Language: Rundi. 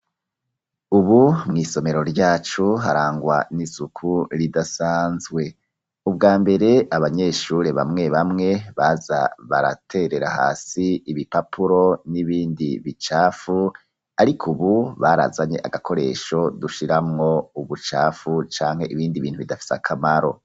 Ubu mwisomero ryacu harangwa n'isuku ridasanzwe. Ubwa mbere abanyeshure bamwe bamwe baza baraterera hasi ibipapuro n'ibindi bicafu ariko ubu barazanye agakoresho dushiramwo ubucafu canke ibindi bintu bidafise akamaro.